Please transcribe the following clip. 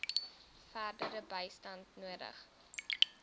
verdere bystand nodig